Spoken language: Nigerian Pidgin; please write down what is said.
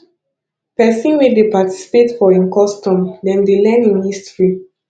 pesin wey dey participate for im custom dem dey learn im history